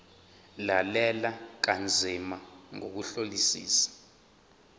lalela kanzima ngokuhlolisisa